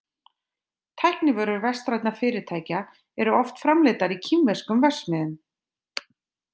Tæknivörur vestrænna fyrirtækja eru oft framleiddar í kínverskum verksmiðjum.